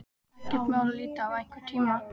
Ekkert mál að líta við einhvern tíma.